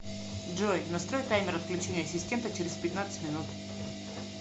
джой настрой таймер отключения ассистента через пятнадцать минут